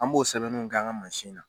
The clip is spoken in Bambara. An b'o sɛbɛnninw k'an ŋa mansin na